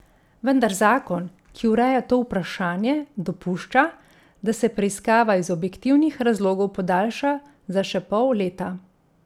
Vendar zakon, ki ureja to vprašanje, dopušča, da se preiskava iz objektivnih razlogov podaljša za še pol leta.